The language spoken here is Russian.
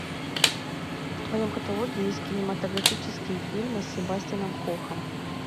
в твоем каталоге есть кинематографические фильмы с себастьяном кохом